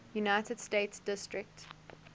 united states district